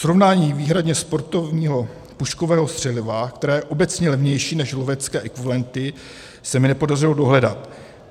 Srovnání výhradně sportovního puškového střeliva, které je obecně levnější než lovecké ekvivalenty, se mi nepodařilo dohledat.